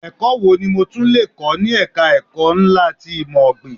Ẹ̀kọ́ wo ni mo tún lè kọ́ ni ẹ̀ka ẹ̀kọ́ ńlá ti ìmò ọ̀gbìn.